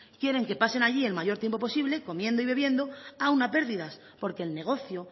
quieren que pasen allí el mayor tiempo posible comiendo y bebiendo aún a pérdidas porque el negocio